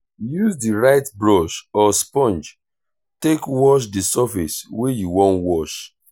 use di right brush or sponge take wash di surface wey you wan wash